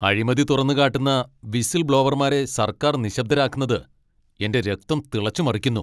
അഴിമതി തുറന്നുകാട്ടുന്ന വിസിൽ ബ്ലോവർമാരെ സർക്കാർ നിശബ്ദരാക്കുന്നത് എന്റെ രക്തം തിളച്ചു മറിക്കുന്നു.